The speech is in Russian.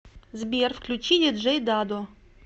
сбер включи диджей дадо